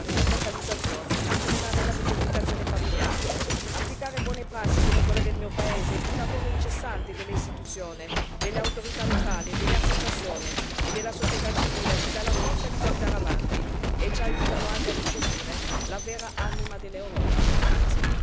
Perciò è necessario attuare corridoi umanitari, provvedere alla rilocalizzazione, accelerare la riunificazione familiare, applicare buone prassi come quelle del mio paese, il cui lavoro incessante delle istituzioni, delle autorità locali, delle associazioni e della società civile ci dà la forza di guardare avanti e ci aiuta anche a riscoprire la vera anima dell'Europa.